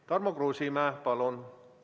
Tarmo Kruusimäe, palun!